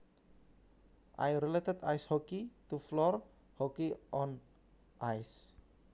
I related ice hockey to floor hockey on ice